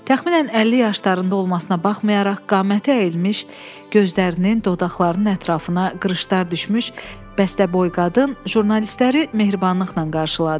Təxminən 50 yaşlarında olmasına baxmayaraq, qaməti əyilmiş, gözlərinin, dodaqlarının ətrafına qırışlar düşmüş bəstəboy qadın jurnalistləri mehribanlıqla qarşıladı.